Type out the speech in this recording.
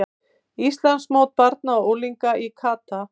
Íslandsmót barna og unglinga í kata